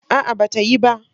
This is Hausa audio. A'a, ba ta yi ba.